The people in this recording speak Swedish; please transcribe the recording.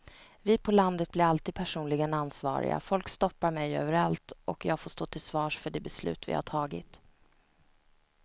Vi på landet blir alltid personligen ansvariga, folk stoppar mig överallt och jag får stå till svars för de beslut vi har tagit.